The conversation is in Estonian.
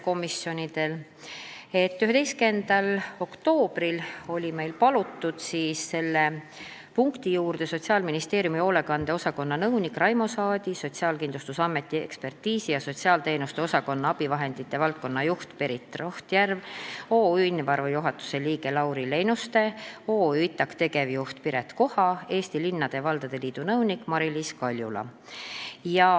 11. oktoobril oli meil palutud selle punkti juurde Sotsiaalministeeriumi hoolekande osakonna nõunik Raimo Saadi, Sotsiaalkindlustusameti ekspertiisi ja sotsiaalteenuste osakonna abivahendite valdkonna juht Berit Rohtjärv, OÜ Invaru juhatuse liige Lauri Leinuste, OÜ ITAK tegevjuht Piret Koha ning Eesti Linnade ja Valdade Liidu nõunik Mailiis Kaljula.